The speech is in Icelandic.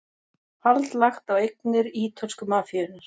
Hald lagt á eignir ítölsku mafíunnar